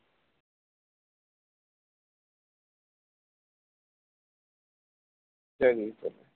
জাগিয়ে তোলে